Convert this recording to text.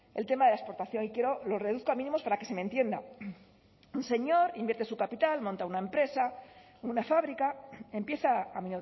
el tema de la exportación y lo reduzco a mínimos para que se me entienda un señor invierte su capital monta una empresa una fábrica empieza a